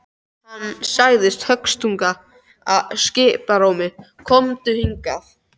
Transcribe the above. Hann sagði höstugum skipunarrómi: Komdu hingað.